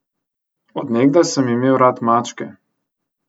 Od nekdaj sem imel rad mačke.